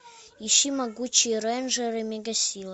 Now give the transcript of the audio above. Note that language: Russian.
ищи могучие рейнджеры мега сила